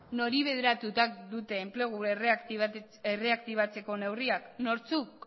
nori bideratuta dute enplegu erreaktibatzeko neurriak nortzuk